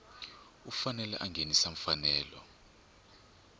u fanele a nghenisa mfanelo